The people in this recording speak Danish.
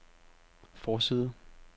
forside